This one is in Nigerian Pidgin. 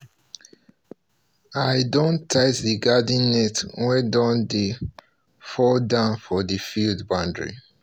i don tight um the garden net wey don um dey um fall down for the field boundary